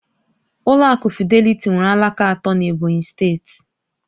Ụlọ akụ Fịdélị̀tí nwere alaka atọ n'Ebonyi steeti